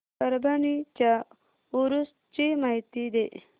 परभणी च्या उरूस ची माहिती दे